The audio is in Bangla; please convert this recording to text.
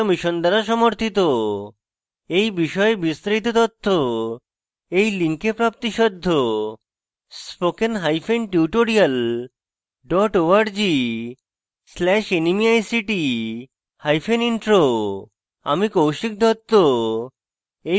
এই বিষয়ে বিস্তারিত তথ্য এই link প্রাপ্তিসাধ্য